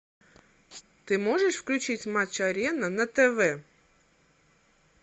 ты можешь включить матч арена на тв